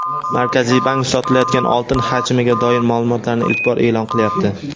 Markaziy bank sotilayotgan oltin hajmiga doir ma’lumotlarni ilk bor e’lon qilyapti.